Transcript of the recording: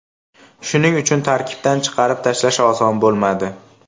Shuning uchun tarkibdan chiqarib tashlash oson bo‘lmadi.